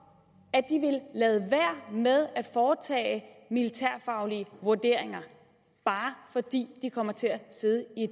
at de ville lade være med at foretage militærfaglige vurderinger bare fordi de kommer til at sidde i